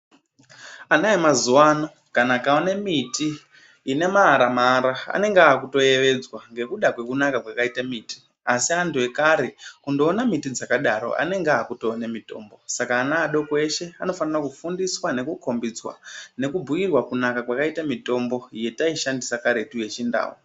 Ana emazuwa ano, kana akaona mi ti ine maaramaara anenge aakutoyevedzwa ngekuda kwekunaka kwakaite miti, asi antu ekare kundoona miti dzakadaro anenge aakutoona mitombo. Saka ana adoko eshe anofanira kufundiswa , nekukhombidzwa nekubhuyirwa kunaka kwakaita mitombo yetaishandisa kartu kuchindau.